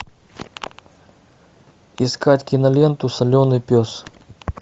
искать киноленту соленый пес